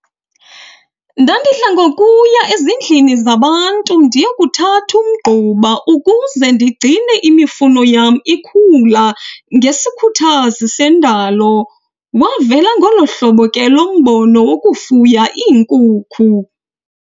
Ndandidla ngokuya ezindlini zabantu ndiyokuthatha umgquba ukuze ndigcine imifuno yam ikhula ngesikhuthazi sendalo. Wavela ngolo hlobo ke lo mbono wokufuya iinkukhu.